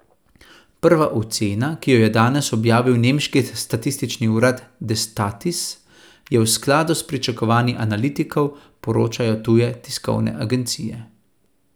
Prva ocena, ki jo je danes objavil nemški statistični urad Destatis, je v skladu s pričakovanji analitikov, poročajo tuje tiskovne agencije.